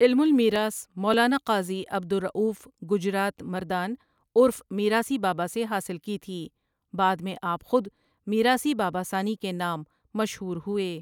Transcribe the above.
علم المیراث مولاناقاضی عبدالرؤف گجرات مردان عُرف میراثی باباسے حاصل کی تھی بعدمیں آپ خودمیراثی بابا ثانی کے نام مشہورہوئے ۔